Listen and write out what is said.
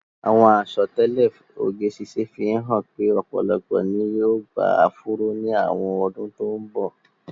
Àwọn àsọtẹ́lẹ̀ oge ṣíṣe fi hàn pé ọ̀pọ̀lọpọ̀ ni yóò gba áfúró ní àwọn ọdún tó ń bọ̀.